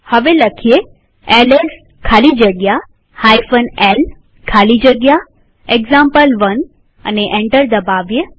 હવે એલએસ ખાલી જગ્યા l ખાલી જગ્યા એક્ઝામ્પલ1 લખીએ અને એન્ટર દબાવીએ